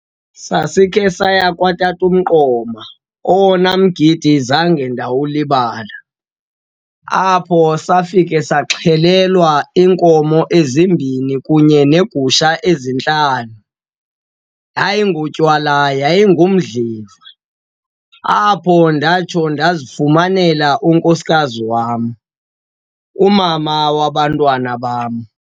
Sasikhe saya kwatata uMqoma, owona mgidi zange ndawulibala, apho safika saxhelelwa iinkomo ezimbini kunye neegusha ezintlanu. Hayi, ngotywala yayingumdliva. Apho ndatsho ndazifumanela unkosikazi wam, umama wabantwana bam.